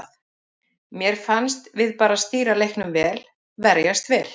Mér fannst við bara stýra leiknum vel, verjast vel.